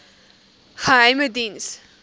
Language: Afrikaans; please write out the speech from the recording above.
geheimediens